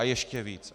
A ještě víc.